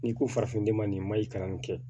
N'i ko farafinden ma nin mayi kalan in kɛ